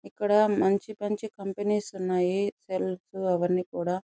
ఇక్కడ మంచి మంచి కంపెనీస్ ఉన్నాయి సెల్స్ అవన్నీ కూడా --